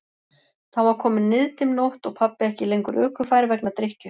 Þá var komin niðdimm nótt og pabbi ekki lengur ökufær vegna drykkju.